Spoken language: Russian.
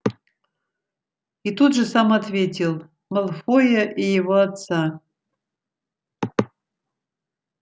и тут же сам ответил малфоя и его отца